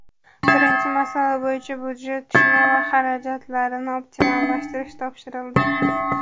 Birinchi masala bo‘yicha budjet tushumi va xarajatlarini optimallashtirish topshirildi.